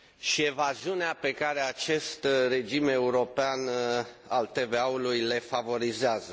și evaziunea pe care acest regim european al TVA ului le favorizează.